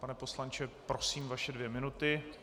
Pane poslanče, prosím vaše dvě minuty.